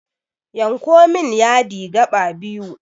Yanko min yadi gaɓa biyu